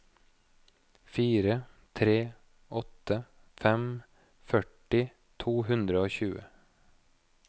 fire tre åtte fem førti to hundre og tjue